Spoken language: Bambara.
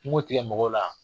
Kungo tigɛ mɔgɔw la.